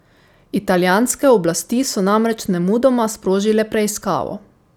Italijanske oblasti so namreč nemudoma sprožile preiskavo.